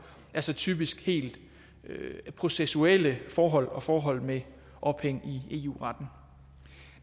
altså typisk helt processuelle forhold og forhold med ophæng i eu retten